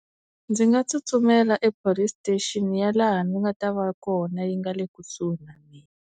Ndzi nga tsutsumela ePolice station ya laha ni nga ta va kona yi nga le kusuhi na mina.